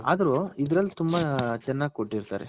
ಅದ್ರು ಇದ್ರಲ್ಲಿ ತುಂಬಾ ಚೆನ್ನಾಗ್ ಕೊಟ್ಟಿರ್ತಾರೆ .